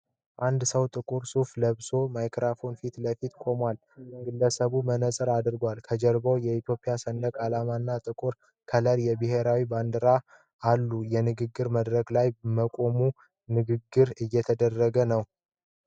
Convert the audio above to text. አንድ ሰው ጥቁር ሱፍ ለብሶ ማይክሮፎን ፊት ለፊት ቆሟል። ግለሰቡ መነፅር አድርጓል። ከጀርባው የኢትዮጵያ ሰንደቅ ዓላማ እና በጥቁር ከለር የብሔራዊ ባንክ ባንዲራዎች አሉ። የንግግር መድረክ ላይ በመቆም ንግግር እየተደረገ ነው።